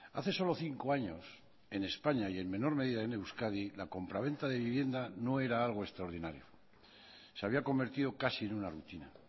hace solo cinco años en españa y en menor medida en euskadi la compraventa de vivienda no era algo extraordinario se había convertido casi en una rutina